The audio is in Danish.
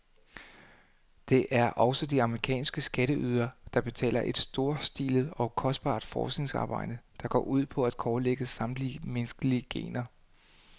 Det er også de amerikanske skatteydere, der betaler et storstilet og kostbart forskningsarbejde, der går ud på at kortlægge samtlige menneskelige gener.